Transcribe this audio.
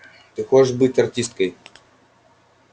ты хочешь быть артисткой